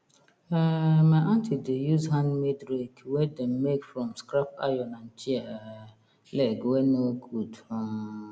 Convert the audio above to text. um my aunty dey use handmade rake wey dem make from scrap iron and chair um leg wey no good um